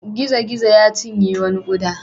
Gizo-gizo ya cinye wani ƙuda.